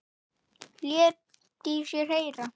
Lét í sér heyra.